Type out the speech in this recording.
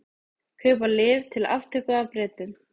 Kaupa lyf til aftöku af Bretum